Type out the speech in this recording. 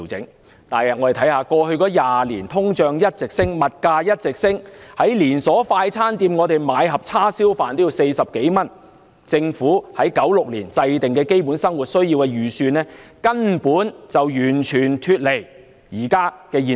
然而，通脹和物價在過去20年一直上升，現時在連鎖快餐店購買一盒叉燒飯也要40多元，政府在1996年就基本生活需要制訂的預算根本完全脫離目前的現實。